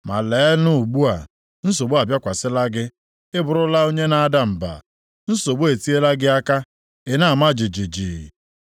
Ma leenụ ugbu a, nsogbu abịakwasịla gị, ị bụrụla onye na-ada mba; nsogbu etiela gị aka, i na-ama jijiji.